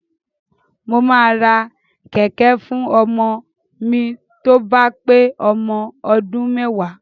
Mo máa ra kẹ̀kẹ́ fún ọmọ mi tó bá pé ọmọ ọdún méwàá.